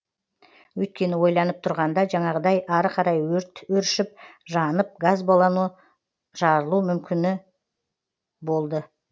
өйткені ойланып тұрғанда жаңағыдай ары қарай өрт өршіп жанып газ баллоны жарылу мүмкіні болды